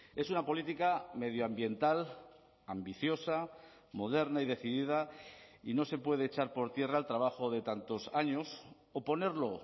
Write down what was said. es una política medioambiental ambiciosa moderna y decidida y no se puede echar por tierra el trabajo de tantos años o ponerlo